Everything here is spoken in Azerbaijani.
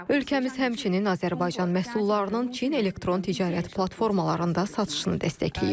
Ölkəmiz həmçinin Azərbaycan məhsullarının Çin elektron ticarət platformalarında satışını dəstəkləyir.